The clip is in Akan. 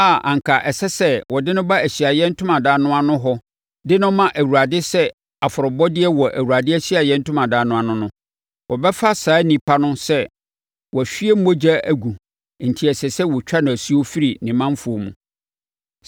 a anka ɛsɛ sɛ ɔde no ba Ahyiaeɛ Ntomadan no ano hɔ de no ma Awurade sɛ afɔrebɔdeɛ wɔ Awurade Ahyiaeɛ Ntomadan no ano no, wɔbɛfa saa onipa no sɛ wahwie mogya agu enti ɛsɛ sɛ wɔtwa no asuo firi ne manfoɔ mu.